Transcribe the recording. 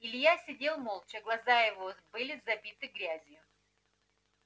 илья сидел молча глаза его были забиты грязью